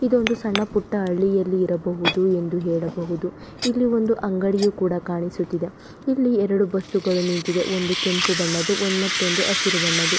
ಇದೊಂದು ಸಣ್ಣ ಪುಟ್ಟ ಹಳ್ಳಿಯಲ್ಲಿ ಇರಬಹುದು ಎಂದು ಹೇಳಬಹುದು ಇಲ್ಲಿ ಒಂದು ಅಂಗಡಿಯು ಕೂಡ ಕಾಣಿಸುತ್ತಿದೆ ಇಲ್ಲಿ ಎರಡು ಬಸ್ಸುಗಳು ನಿಂತಿದೆ ಒಂದು ಕೆಂಪು ಬಣ್ಣದು ಮತ್ತೊಂದು ಹಸಿರು ಬಣ್ಣದು.